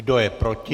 Kdo je proti?